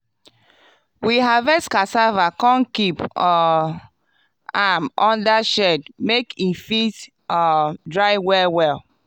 we harvest cassava come keep um am under shed make e fit um dry well well.